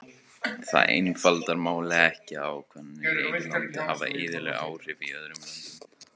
Það einfaldar málið ekki að ákvarðanir í einu landi hafa iðulega áhrif í öðrum löndum.